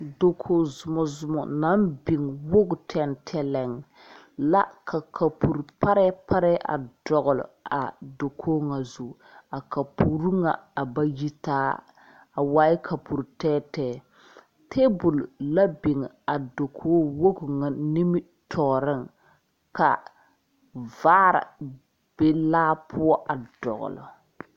Dakoge zomɔzom naŋ biŋ woge tɛŋtɛlɛŋ la ka kapure parɛɛ parɛɛ a dɔgle a dakog ŋa zu a kapure ŋa a ba yitaa a waaɛ kapure tɛɛtɛɛ tabol la biŋ a dakogi ŋa nimitɔɔriŋ ka vaare a be laa poɔ a dɔgle.